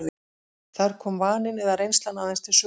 Þar komi vaninn eða reynslan aðeins til sögunnar.